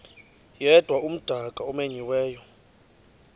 yedwa umdaka omenyiweyo